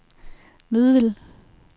middel